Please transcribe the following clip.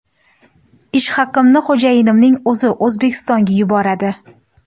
Ish haqimni xo‘jayinimning o‘zi O‘zbekistonga yuboradi.